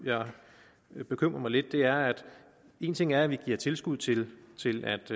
der bekymrer mig lidt er at en ting er at vi giver tilskud til til